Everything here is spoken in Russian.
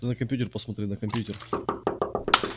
ты на компьютер посмотри на компьютер